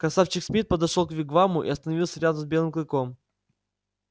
красавчик смит подошёл к вигваму и остановился рядом с белым клыком